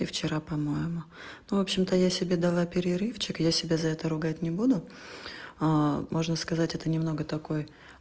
и вчера по-моему ну в общем-то я себе дала перерывчик я себя за это ругать не буду можно сказать это немного такой